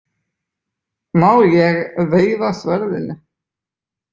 Má ég veifa sverðinu?